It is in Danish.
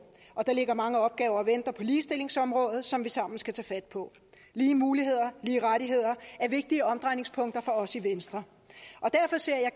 og der ligger mange opgaver og venter på ligestillingsområdet som vi sammen skal tage fat på lige muligheder lige rettigheder er vigtige omdrejningspunkter for os i venstre og derfor ser jeg